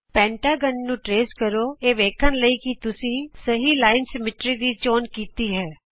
ਪੰਜਭੁਜ ਦਾ ਅਨੁਰੇਖਣ ਕਰੋ ਇਹ ਵੇਖਣ ਲਈ ਕਿ ਤੁਸੀਂ ਸਹੀ ਰੇਖਾ ਸਮਮਿਤੀ ਦੀ ਚੋਣ ਕੀਤਾ ਹੈ